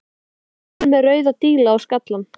Hann var kominn með rauða díla á skallann.